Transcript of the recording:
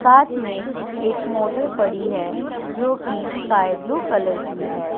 साथ में एक मोटर पड़ी है जो कि स्काई ब्लू कलर की है।